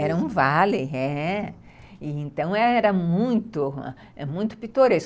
Era um vale, é. Então, era muito pitoresco.